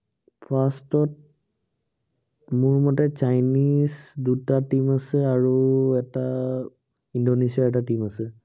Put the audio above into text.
first ত মোৰ মতে চাইনিজ দুটা team আৰু এটা ইন্দোনেচিয়াৰ এটা team আছে।